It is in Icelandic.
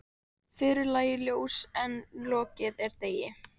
Fyrr lægir ljós en lokið er degi.